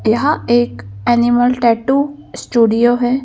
यहाँ एक animal tattoo studio है।